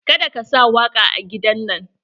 Ka da ka sa waƙa a gidan nan!